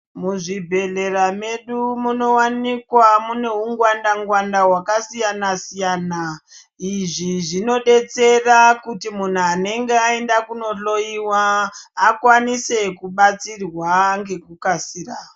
Muzvibhedhleya medu munowanikwa mune hungwanda hungwanda hwakasiyana siyana izvi zvinodetsera kuti muntu anenge aenda kunohloyiwa akwanise kubatsirwa ngekukasira.